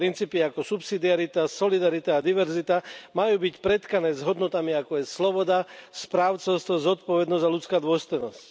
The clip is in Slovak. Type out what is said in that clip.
Princípy ako subsidiarita, solidarita a diverzita majú byť pretkané s hodnotami, ako je sloboda, správcovstvo, zodpovednosť a ľudská dôstojnosť.